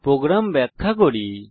এখন প্রোগ্রাম ব্যাখ্যা করি